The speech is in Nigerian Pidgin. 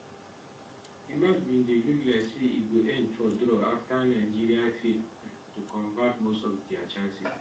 di match bin dey look like say e go end for for draw afta nigeria fail um to convert most of dia chances